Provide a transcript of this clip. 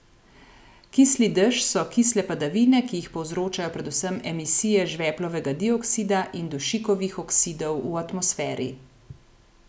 Kisli dež so kisle padavine, ki jih povzročajo predvsem emisije žveplovega dioksida in dušikovih oksidov v atmosferi.